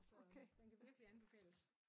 Altså den kan virkelig anbefales